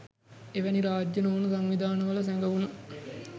එවැනි රාජ්‍ය නොවන සංවිධානවල සැඟවුනු